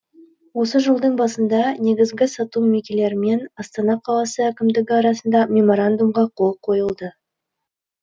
осы жылдың басында негізгі сату мекелерімен астана қаласы әкімдігі арасында меморандумға қол қойылды